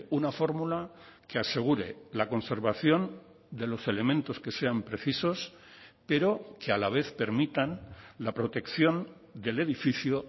una fórmula que asegure la conservación de los elementos que sean precisos pero que a la vez permitan la protección del edificio